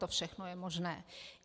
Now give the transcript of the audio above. To všechno je možné.